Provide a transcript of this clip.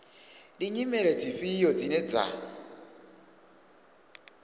ndi nyimele dzifhio dzine dza